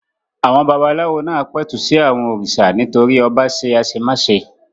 Àwọn babaláwo náà pẹ̀tù sí àwọn òrìṣà nítorí ọba ṣe àṣemáṣe.